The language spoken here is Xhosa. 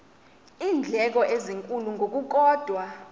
iindleko ezinkulu ngokukodwa